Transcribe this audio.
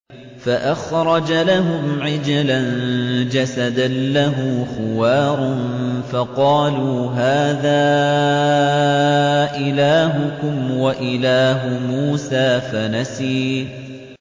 فَأَخْرَجَ لَهُمْ عِجْلًا جَسَدًا لَّهُ خُوَارٌ فَقَالُوا هَٰذَا إِلَٰهُكُمْ وَإِلَٰهُ مُوسَىٰ فَنَسِيَ